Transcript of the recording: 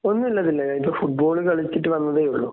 ഒന്നൂല്ല ദിൽന ഞാനിപ്പോ ഫുട്ബോൾ കളിച്ചിട്ട് വന്നതേയൊള്ളൂ.